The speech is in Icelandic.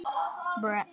Þetta byrjaði vel.